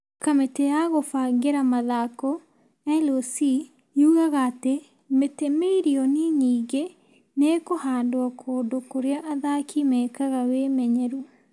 Kamĩtĩ ya kũbangĩra mathako , LOC yugaga atĩ mĩtĩ mirioni nyingĩ nĩ ĩkũhandwo kũndũ kũrĩa athaki meekaga wĩmenyeru ,